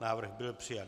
Návrh byl přijat.